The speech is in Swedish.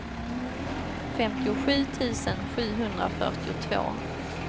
femtiosju tusen sjuhundrafyrtiotvå